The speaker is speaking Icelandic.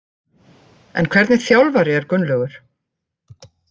En hvernig þjálfari er Gunnlaugur?